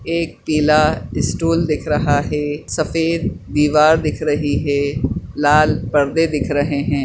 एक पीला स्टूल दिख रहा हैं सफ़ेद दिवार दिख रही हैं लाल पर्दे दिख रहे है।